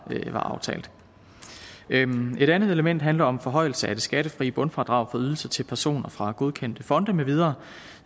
aftalt en andet element handler om forhøjelse af det skattefri bundfradrag for ydelser til personer fra godkendte fonde med videre